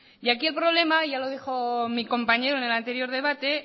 y aquí el problema ya lo dijo mi compañero en el anterior debate